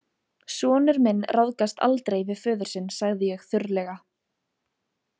Sonur minn ráðgast aldrei við föður sinn, sagði ég þurrlega.